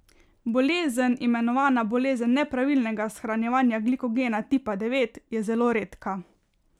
Bolezen, imenovana bolezen nepravilnega shranjevanja glikogena tipa devet, je zelo redka.